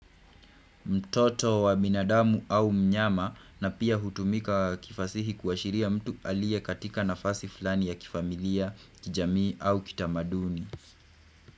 Mtoto wa binadamu au mnyama na pia hutumika kifasihi kuashiria mtu alie katika nafasi fulani ya kifamilia kijamii au kitamaduni.